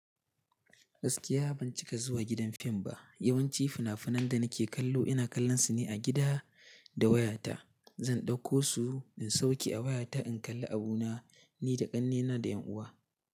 Gaskiya ban cika zuwa gidan fim ba. Yawanci fina-finan da nake kallo ina kallon su ne a gida da wayata. Zan ɗauko su in sauke a wayata in kalla abuna ni da ƙannena da ƴan'uwa.